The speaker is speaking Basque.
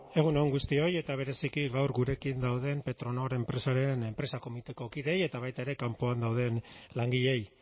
egun on guztioi eta bereziki gaur gurekin dauden petronor enpresa komiteko kideei eta baita ere kanpoan dauden langileei